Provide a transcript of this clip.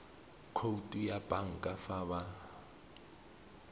khoutu ya banka fa ba